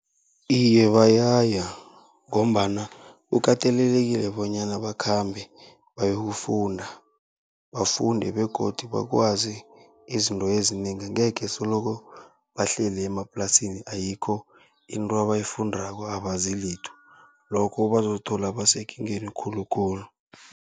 Iye, bayaya ngombana kukatelelekile bonyana bakhambe bayokufunda bafunde begodu bakwazi izinto ezinengi. Angekhe soloko bahleli emaplasini ayikho into abayifundako abazi litho, lokho bazozithola basekingeni khulukhulu.